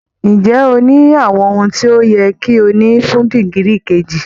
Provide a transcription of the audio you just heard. Ǹjẹ́ o ní àwọn ohun tí ó yẹ kí o ní fún dìgírì kejì?